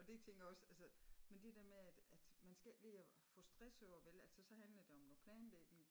Og det tænker a også altså men det der med at at man skal ikke ligge og få stress over vel altså så handler det om noget planlægning